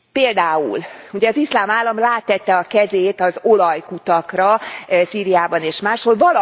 Például, ugye, az Iszlám Állam rátette a kezét az olajkutakra Szíriában és máshol.